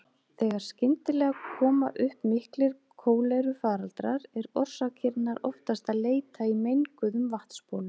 Þegar skyndilega koma upp miklir kólerufaraldrar er orsakarinnar oftast að leita í menguðum vatnsbólum.